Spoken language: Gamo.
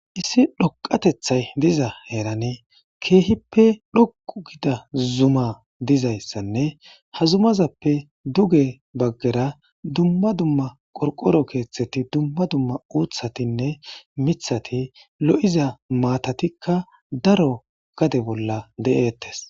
issi dhoqatethay diza heerane keehippe dhoqu gida zuma dizayssanne ha zumazappe duge baggera dumma dumma qorqoro keeththeti dumma dumma uuthatinne mithati lo7iza maatatikka daro gade bolla deeettes